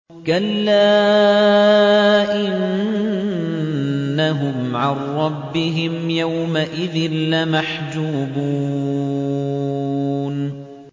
كَلَّا إِنَّهُمْ عَن رَّبِّهِمْ يَوْمَئِذٍ لَّمَحْجُوبُونَ